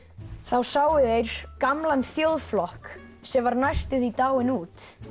sáu þeir gamlan þjóðflokk sem var næstum því dáinn út